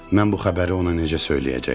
Mən bu xəbəri ona necə söyləyəcəkdim?